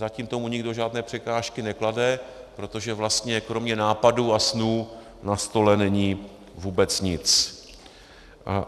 Zatím tomu nikdo žádné překážky neklade, protože vlastně kromě nápadů a snů na stole není vůbec nic.